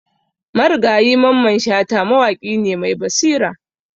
Marigayi Mamman Shata mawaƙi ne mai basira.